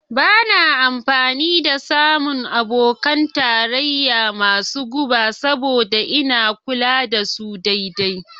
Ba na amfani da samun abokan tarayya masu guba saboda ina kula da su daidai.